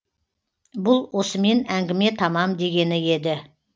бұл осымен әңгіме тамам дегені еді